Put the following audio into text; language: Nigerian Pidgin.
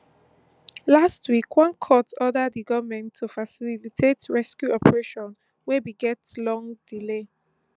last week one court order di goment to facilitate rescue operation wey bin get long delay